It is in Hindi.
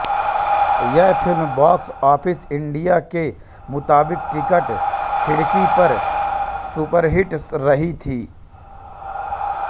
यह फ़िल्म बॉक्स ऑफिस इंडिया के मुताबिक टिकट खिड़की पर सुपरहिट रही थी